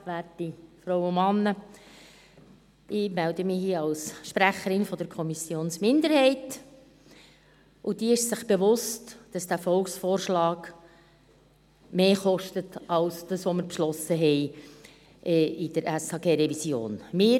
Ich melde mich hier als Sprecherin der Kommissionsminderheit, und diese ist sich bewusst, dass dieser Volksvorschlag mehr kostet als das, was wir in der SHG-Revision beschlossen haben.